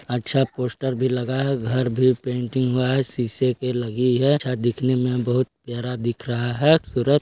अच्छा पोस्टर भी लगा है घर भी पेंटिंग हुआ है शीशे की लगी है छत देखने में बहुत प्यारा दिख रहा है खूबसूरत --